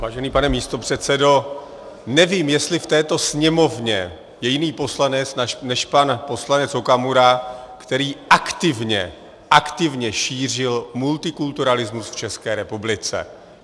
Vážený pane místopředsedo, nevím, jestli v této sněmovně je jiný poslanec než pan poslanec Okamura, který aktivně, aktivně šířil multikulturalismus v České republice.